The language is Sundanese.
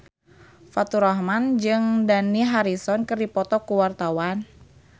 Faturrahman jeung Dani Harrison keur dipoto ku wartawan